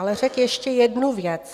Ale řekl ještě jednu věc.